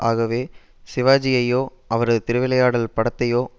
ஆகவே சிவாஜியையோ அவரது திருவிளையாடல் படத்தையோ